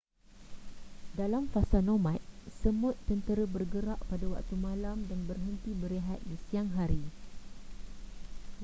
dalam fasa nomad semut tentera bergerak pada waktu malam dan berhenti berehat di siang hari